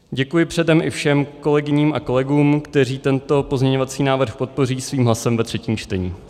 Děkuji předem i všem kolegyním a kolegům, kteří tento pozměňovací návrh podpoří svým hlasem ve třetím čtení.